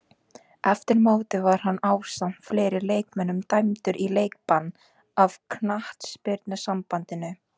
Eftir mótið var hann ásamt fleiri leikmönnum dæmdur í leikbann af knattspyrnusambandinu.